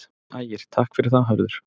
Ægir: Takk fyrir það Hörður.